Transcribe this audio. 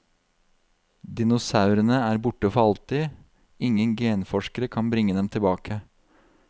Dinosaurene er borte for alltid, ingen genforskere kan bringe dem tilbake.